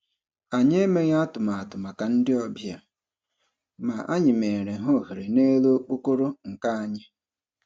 Anyi emeghị atụmatụ maka ndị obịa, ma anyị meere ha ohere n'elu okpokoro nka anyị